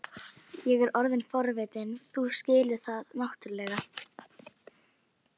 Ég er orðinn forvitinn, þú skilur það náttúrlega.